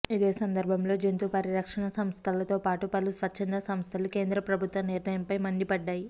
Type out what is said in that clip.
ఇదే సందర్బంలో జంతు పరిరక్షణ సంస్థలతో పాటు పలు స్వచ్చంద సంస్థలు కేంద్ర ప్రభుత్వ నిర్ణయంపై మండిపడ్డాయి